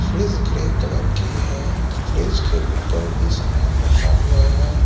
Fridge grey colour की है fridge के ऊपर भी सामान रखा हुआ है।